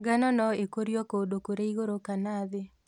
Ngano nũĩkũrio kũndũ kũrĩ ĩgũrũ kana thĩ.